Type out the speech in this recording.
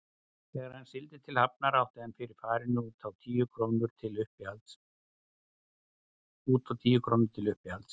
Þegar hann sigldi til Hafnar átti hann fyrir farinu út og tíu krónur til uppihalds.